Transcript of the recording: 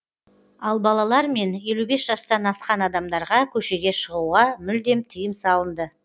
ал балалар мен елу бес жастан асқан адамдарға көшеге шығуға мүлдем тыйым салынды